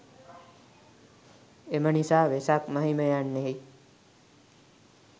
එම නිසා වෙසක් මහිම යන්නෙහි